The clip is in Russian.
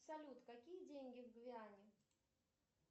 салют какие деньги в гвиане